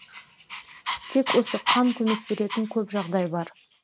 тек осы қан көмек беретін көп жағдай бар